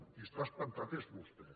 qui està espantat és vostè